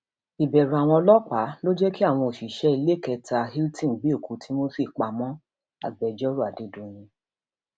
ìbẹrù àwọn ọlọpàá ló jẹ kí àwọn òṣìṣẹ iléekétà hilton gbé òkú timothy pamọ agbẹjọrò adédọyìn